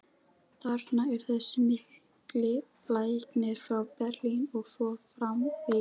þarna er þessi mikli læknir frá Berlín og svo framvegis.